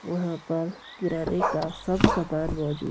वहां पर किराने का सब सामान मौजूद--